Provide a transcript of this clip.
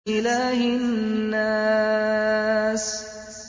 إِلَٰهِ النَّاسِ